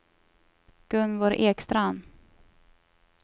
Gunvor Ekstrand